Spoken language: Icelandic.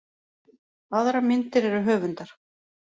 Aðrar myndir eru höfundar.